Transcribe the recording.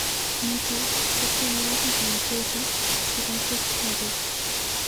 Nito ko tyenwagik anchocho chekachuktake?